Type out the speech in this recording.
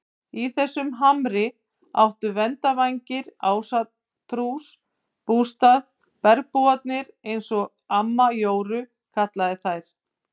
Í þessum hamri áttu verndarvættir Ásatúns bústað, bergbúarnir eins og amma Jóru kallaði þær.